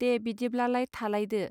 दे बिदिब्लालाय थालायदो.